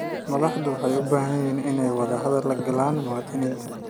Madaxdu waxay u baahan yihiin inay wadahadal la galaan muwaadiniinta.